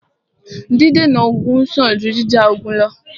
Dídènà ogun sàn jù jíjà ogun lọ́.